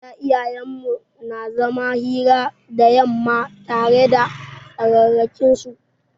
A da iyayen mu na zaman hira da yamma tare da tsararrakin su.